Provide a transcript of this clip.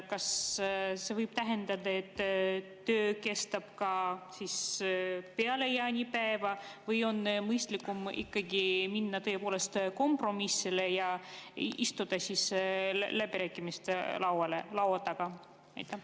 Kas see võib tähendada, et töö kestab ka peale jaanipäeva või on tõepoolest mõistlikum ikkagi minna kompromissile ja istuda läbirääkimiste laua taha?